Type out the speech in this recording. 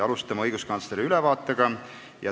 Alustame õiguskantsleri ülevaatega.